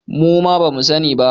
Muma bamu sani ba